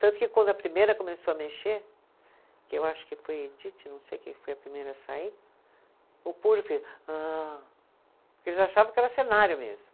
Tanto que quando a primeira começou a mexer, que eu acho que foi Edith, não sei quem foi a primeira a sair, o público fez ah, porque eles achavam que era cenário mesmo.